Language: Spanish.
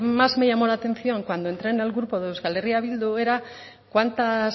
más me llamó la atención cuando entré en el grupo de euskal herria bildu era cuántas